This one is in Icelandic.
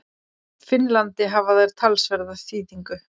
Finnlandi hafa þær talsverða þýðingu.